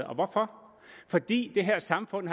og hvorfor fordi det her samfund